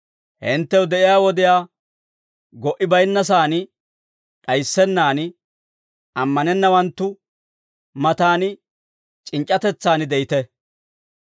Hinttew de'iyaa wodiyaa go"i bayinnasaan d'ayissennan, ammanennawanttu matan c'inc'c'atetsaan de'ite.